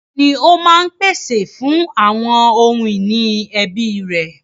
Bàbá ni ó máa ń pèsè fún àwọn ohun ìní ẹbí rẹ̀.